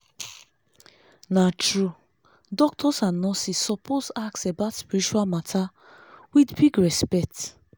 na true! doctors and nurses suppose ask about spiritual mata with big respect